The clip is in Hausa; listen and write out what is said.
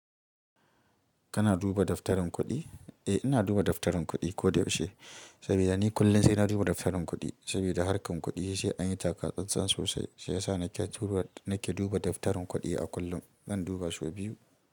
Kana duba daftarin kuɗi? Eh ina duba daftarin kuɗi ko da yaushe, saboda ni kullum sai na duba daftarin kuɗi. Saboda harkar kuɗi sai an yi taka tsantsan sosai, shi ya sa nake duba daftarin kuɗi a kullum. Zan duba sau biyu.